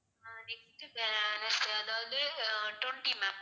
ஆஹ் next க்கு ah ` அதாவது ah twenty ma'am